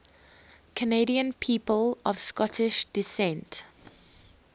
canadian people of scottish descent